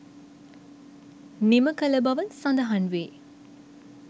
නිම කළබව සඳහන් වේ.